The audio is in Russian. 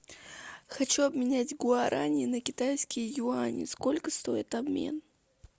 хочу обменять гуарани на китайские юани сколько стоит обмен